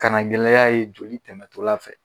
Kana gɛlɛya ye joli tɛmɛ tɔla fɛ.